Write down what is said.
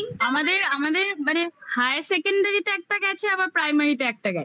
আমাদের আমাদের মানে higher secondary তে একটা গেছে আবার primary তে একটা গেছে